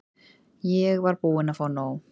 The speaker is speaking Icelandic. Ég var búin að fá nóg.